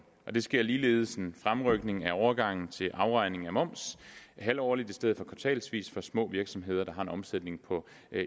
sker ligeledes en fremrykning af overgangen til afregning af moms halvårligt i stedet for kvartalsvis for små virksomheder der har en omsætning på